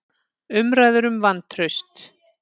Umræður um vantraust